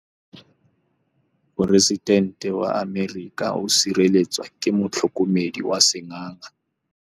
Poresitêntê wa Amerika o sireletswa ke motlhokomedi wa sengaga.